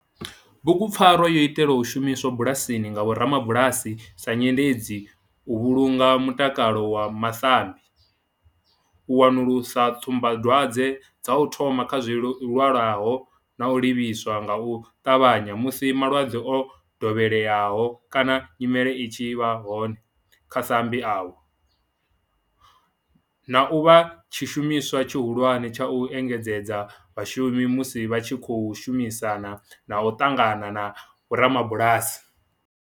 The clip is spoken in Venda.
Bugu pfarwa yo itelwa u shumiswa bulasini nga vhorabulasi sa nyendedzi u vhulunga mutakalo wa masambi, u wanulusa tsumba dwadzwe dza u thoma kha zwilwalaho na u livhisa nga u tavhanya musi malwadze o dovheleaho kana nyimele i tshi vha hone kha masambi avho, na u vha tshishumiswa tshihulwane tsha u engedzedza vhashumi musi vha tshi khou shumisana na u ṱangana na vhorabulasi.